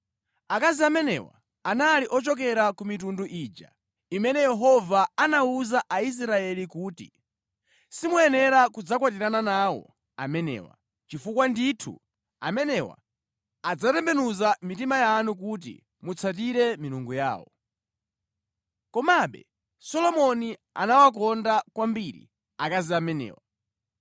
Akazi amenewa anali ochokera ku mitundu ija imene Yehova anawuza Aisraeli kuti, “Simuyenera kudzakwatirana nawo amenewa, chifukwa ndithu, amenewa adzatembenuza mitima yanu kuti mutsatire milungu yawo.” Komabe Solomoni anawakonda kwambiri akazi amenewa.